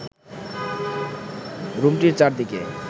রুমটির চারদিকে